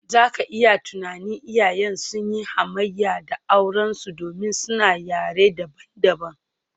Za ka iya tunanin, iyayen sun yi hamayya da aurensu domin suna yare dabam-dabam.